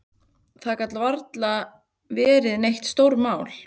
Það gat varla verið neitt stórmál.